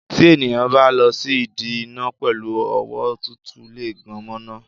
Tí ènìyàn bá lọ sí ìdí iná pẹ̀lú ọwọ́ tútù lè gan mo iná.